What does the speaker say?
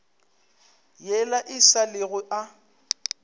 yela e sa lego a